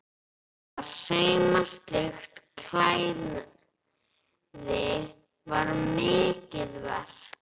Að sauma slíkt klæði var mikið verk.